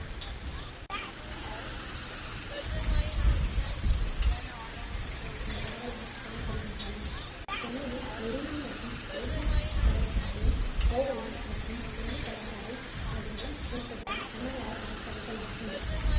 பரவலாக் காணப்படுகின்றன சென்னையின் மெரினா மற்றும் எலியட் கடற்கரைகளும் கோவளம் மற்றும் வெள்ளி கடற்கரை ஆகியவை புகழ்பெற்ற தமிழக கடற்கரைகளாகும்